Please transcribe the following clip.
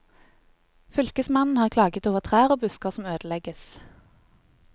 Fylkesmannen har klaget over trær og busker som ødelegges.